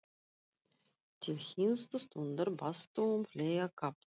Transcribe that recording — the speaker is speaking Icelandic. Til hinstu stundar baðstu um fleiri kafla.